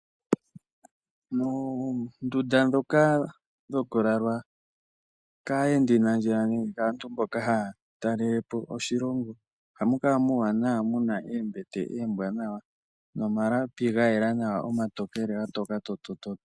Moondunda ndhoka dhoku lalwa kaayendi nandjila nenge aantu mboka haya talelepo oshilongo ohamu kala muuwanawa muna oombete ombwanawa nomalapi ga yela nawa omatokele ga toka tooto.